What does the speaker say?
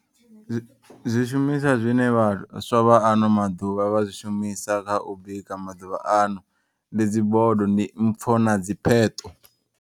Zwi zwishumiswa zwine vhaswa vha ano maḓuvha vha zwi shumisa kha u bika maḓuvha ano. Ndi dzi bodo ndi mpfo na dzi pheṱo.